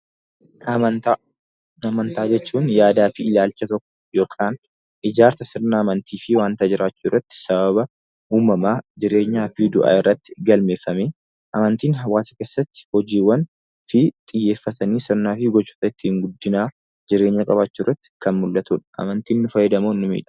Amantaa jechuun yaadaa fi ilaalcha tokko yookaan ijaarsa sirna amantii fi waanta jiraachuu irratti sababa uumamaa, jireenyaa fi du'a irratti galmeeffamee. Amantiin hawaasa keessatti hojiiwwan fi xiyyeeffatanii sirna gochoota guddinaa jireenya qabaachuu irratti kan mul'atudha. Amantiin ni fayyada moo ni miidha?